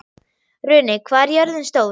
Runi, hvað er jörðin stór?